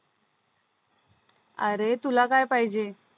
आरे तुला काय पाहिजे